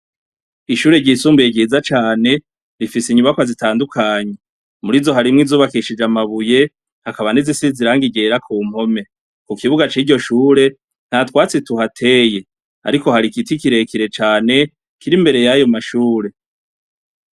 Ishure ryisumbuye ryiza cane, rifise inyubakwa zitandukanye, murizo harimwo izubakishije amabuye, hakaba n'izisize irangi ryera Kumpome, kukibuga c'iryo shure ntatwatsi tuhateye ariko hari igiti kirekire cane kiri imbere yayo mashure.